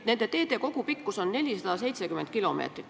Nende teede kogupikkus on 470 kilomeetrit.